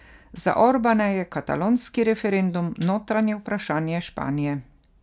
Za Orbana je katalonski referendum notranje vprašanje Španije.